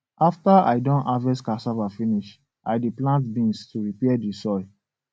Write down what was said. after i don harvest cassava finish i dey plant beans to repair the soil